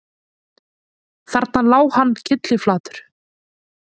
Þarna lá hann kylliflatur